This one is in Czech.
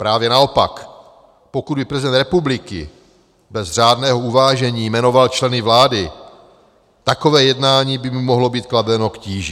Právě naopak, pokud by prezident republiky bez řádného uvážení jmenoval členy vlády, takové jednání by mu mohlo být kladeno k tíži.